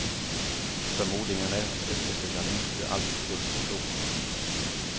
Förmodligen är efterföljarna inte alltid fullt så kloka.